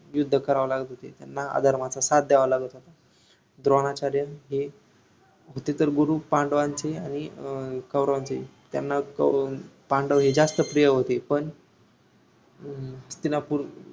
युद्ध करावे लागत होते त्यांना अधर्माचा साथ द्यावा लागत होता द्रोणाचार्य हे होते तर गुरु पांडवांचे आणि अं कौरवांचेहि त्यांना पांडव हे जास्त प्रिय होते पण हम्म हस्तिनापूर